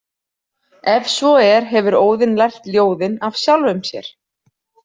Ef svo er hefur Óðinn lært ljóðin af sjálfum sér.